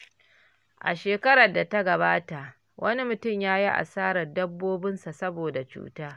A shekarar da ta gabata, wani mutum ya yi asarar dabbobinsa saboda cuta.